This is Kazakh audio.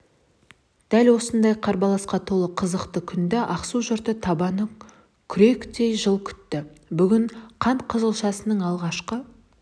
дәл осындай қарбаласқа толы қызықты күнді ақсу жұрты табаны күректей жыл күтті бүгін қант қызылшасының алғашқы